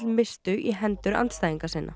misstu í hendur andstæðinga sinna